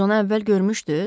Siz onu əvvəl görmüşdüz?